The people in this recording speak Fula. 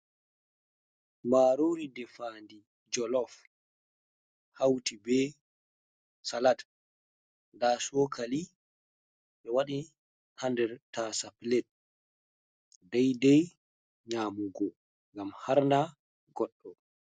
Marori defandi, jolof. hauti be salat da sokali be wadi hander tasa plet daidai nyamugo. gam har Nda goddo.